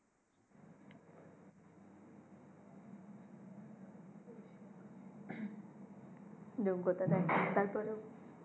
যোগ্যতা দেখেনা তার পরে ও